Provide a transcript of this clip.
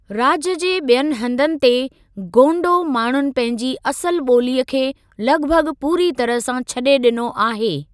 राज्य जे ॿियनि हंधनि ते, गोंडों माण्हुनि पंहिंजी असुलु ॿोलीअ खे लॻभॻ पूरी तरह सां छॾे ॾिनो आहे।